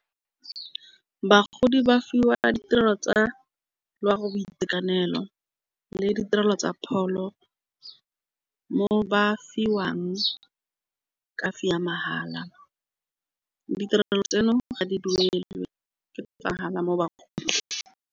Bagodi ba fiwa ditirelo tsa loago boitekanelo le ditirelo tsa pholo. Mo ba fiwang ya mahala. Ditirelo tsheno ga di duelelwe ke mahala mo bagoding.